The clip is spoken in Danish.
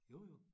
Jo jo